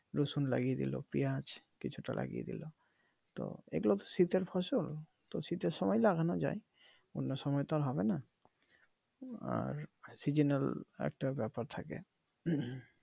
রসুন লাগিয়ে দিলো পিঁয়াজ কিছুটা লাগিয়ে দিলো তো এইগুলো তো শীতের ফসল তো শীতের সময় লাগানো যায় অন্য সময়তো আর হবে নাহ আর সিজনাল একটা ব্যাপার থাকে।